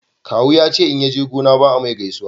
kawu ya ce in yaje gona ba a mai gaisuwa